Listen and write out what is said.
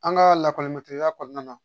An ka lakɔli mɛ teriya kɔnɔna na